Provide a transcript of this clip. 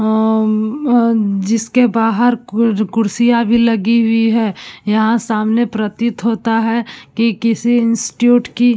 अ जिसके बाहर कुर कुर्सियाँ भी लगी हुई हैं। यहाँ सामने प्रतीत होता है कि किसी इंस्ट्यूट की --